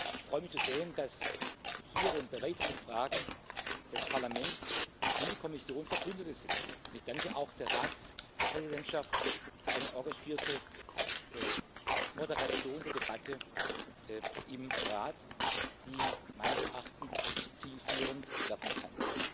Ich freue mich, zu sehen, dass hier und bei weiteren Fragen das Parlament und die Kommission Verbündete sind. Ich danke auch der Ratspräsidentschaft für eine engagierte Moderation der Debatte im Rat, die meines Erachtens zielführend werden kann.